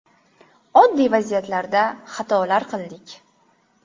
Oddiy vaziyatlarda xatolar qildik.